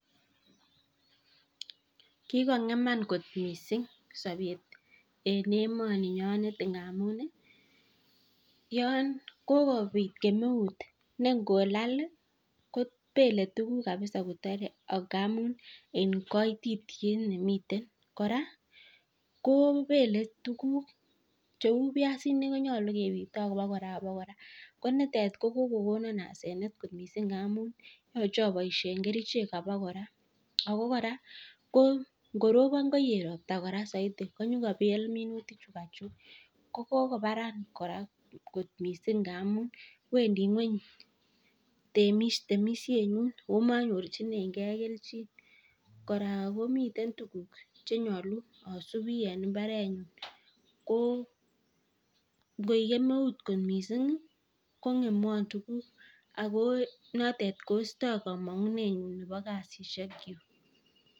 Kikong'eman kot missing' sapet en emaninyonet ngamun yan kokopit kemeut ne ngolal kopele tuguk kqpisa kotare ngamun kaititiet ne miten. Kora kopele tuguk cheu piasinik konyalu kepitee aba kora aba kora. Ko nitet ko kokokom asenet amun yache apaishen kerichek aba kora. Ako kora ko ngoropon koet ropta saidi ko nyukopel minutik chukachuk. Ko kokoparan kot missing' ngamun wrndi ng'weny temishenyun ako manyorchinegei kelchin. Kora ko miten tuguk che nyalu asupi en mbarenyun. Ko ngoek kemeut missing' kong'emwan tuguuk ako notet koistai kamang'enenyu nepo kasishekchuk.